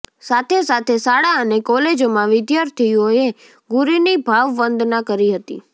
સાથેસાથે શાળા અને કોલેજોમાં વિધાર્થીઓએ ગુરુની ભાવવંદના કરી હતી